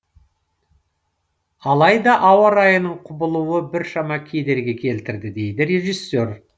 алайда ауа райының құбылуы біршама кедергі келтірді дейді режиссер